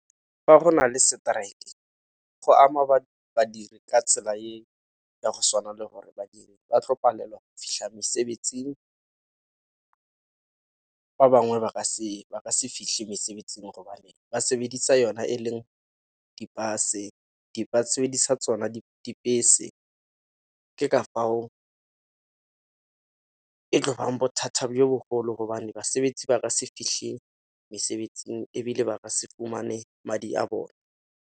Fa go nale strike go ama badiri ka tsela eo ka go swana le gore badiri ba tlo palelwa fitlha mesebetsing, ba bangwe ba ka se fitlhe mesebetsing gobane ba sebedisa yona e leng di-bus-e, ba sebedisa tsona dibese. Ke ka fao e tlo bang bothata jo bogolo gobane mesebetsi ba ka se fitlhele mesebetsing ebile ba ka se fumane madi a bone.